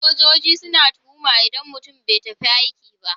Sojoji suna tuhuma idan mutum bai tafi aiki ba.